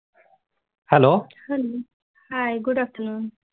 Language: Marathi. Hi good afternoon